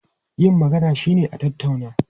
Yin magana shine a tattauna.